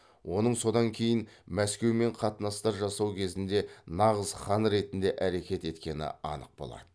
оның содан кейін мәскеумен қатынастар жасау кезінде нағыз хан ретінде әрекет еткені анық болады